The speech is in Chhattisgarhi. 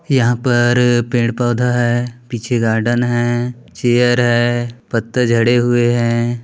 यहाँ पर पेड़ पौधा है पीछे गार्डन है चेयर है पत्ता झड़े हुए हैं।